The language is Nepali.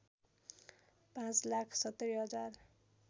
५ लाख ७० हजार